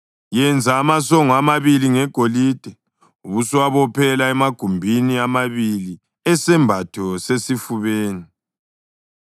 Yenza amasongo amabili ngegolide ubusuwabophela emagumbini amabili esembatho sesifubeni.